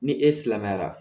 Ni e silamɛyara